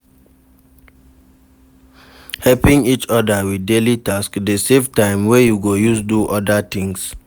Helping each other with daily task de save time wey you go use do other things